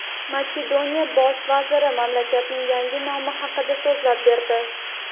Makedoniya bosh vaziri mamlakatning yangi nomi haqida so‘zlab berdi.